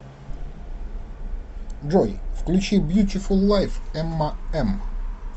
джой включи бьютифул лайф эмма м